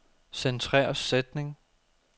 Centrer sætning.